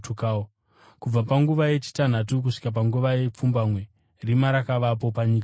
Kubva panguva yechitanhatu kusvika panguva yepfumbamwe rima rakavapo panyika yose.